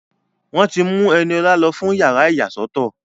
Wọ́n ti mú Ẹniọlá lọ fún yàrá ìyàsọ́tọ̀